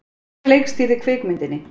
Hver leikstýrði kvikmyndinni?